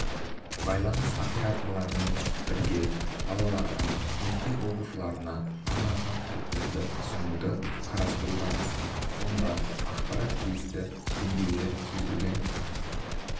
байланыс операторларымен бірге балаларға мектеп оқушыларына арналған пакеттерді ұсынуды қарастырудамыз онда ақпарат тиісті деңгейде сүзгіден